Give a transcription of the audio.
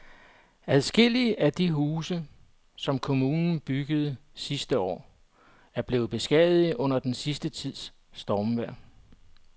Adskillige af de huse, som kommunen byggede sidste år, er blevet beskadiget under den sidste tids stormvejr.